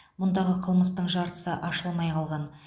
мұндағы қылмыстың жартысы ашылмай қалған